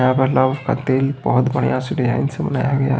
यहां पर लौंग का तेल बहोत बढ़िया से डिजाइन से बनाया गया है।